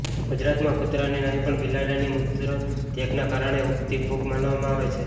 ગુજરાતમાં કૂતરાની નહીં પણ બિલાડીના મૂત્ર ત્યાગના કારણે ઉગતી ફૂગ માનવામાં આવે છે